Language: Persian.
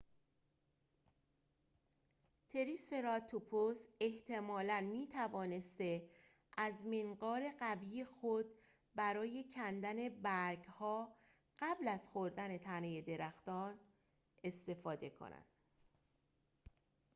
تریسراتوپس احتمالاً می‌توانسته از منقار قوی خود برای کندن برگ‌ها قبل از خوردن تنه درخت استفاده کند